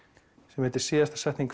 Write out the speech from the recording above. sem heitir síðasta setning